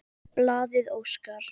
Blaðið óskar